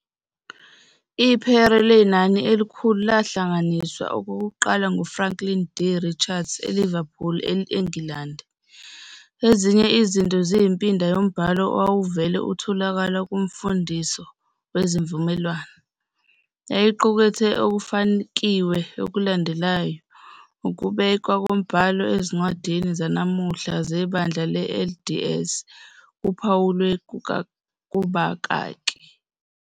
IPhere Lenani Elikhulu lahlanganiswa okokuqala nguFranklin D. Richards eLiverpool, eNgilandi. Ezinye izinto ziyimpinda yombhalo owawuvele utholakala kuMfundiso neziVumelwano. Yayiqukethe okufakiwe okulandelayo, ukubekwa kombhalo ezincwadini zanamuhla zeBandla le-LDS kuphawulwe kubakaki.